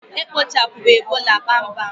E kpochapụrụ Ebola kpamkpam